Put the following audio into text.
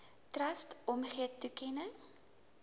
trust omgee toekenning